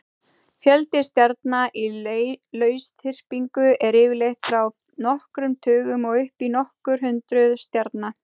Fjöldi stjarna í lausþyrpingu er yfirleitt frá nokkrum tugum og upp í nokkur hundruð stjarna.